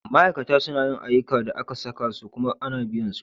Ma'aikata suna yin ayyukan da aka saka su kuma ana biyan su.